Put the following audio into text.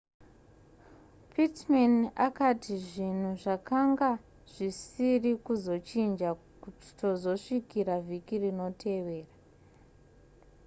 pittman akati zvinhu zvakanga zvisiri kuzochinja kutozosvikira vhiki rinotevera